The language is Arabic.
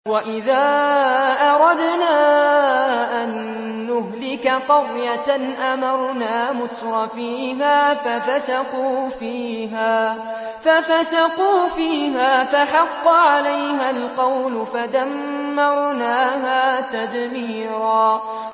وَإِذَا أَرَدْنَا أَن نُّهْلِكَ قَرْيَةً أَمَرْنَا مُتْرَفِيهَا فَفَسَقُوا فِيهَا فَحَقَّ عَلَيْهَا الْقَوْلُ فَدَمَّرْنَاهَا تَدْمِيرًا